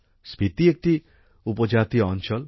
স্পিতি একটি উপজাতীয় অঞ্চল